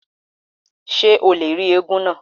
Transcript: Ṣé o lè rí éégún náà?